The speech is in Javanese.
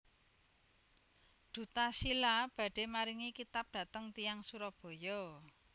Duta Shila badhe maringi kitab dateng tiyang Surabaya